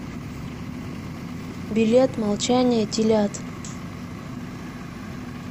билет молчание телят